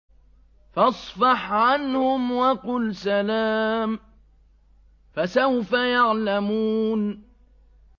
فَاصْفَحْ عَنْهُمْ وَقُلْ سَلَامٌ ۚ فَسَوْفَ يَعْلَمُونَ